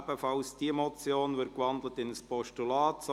Diese Motion wird ebenfalls in ein Postulat gewandelt.